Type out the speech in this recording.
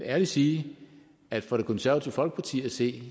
ærligt sige at for det konservative folkeparti at se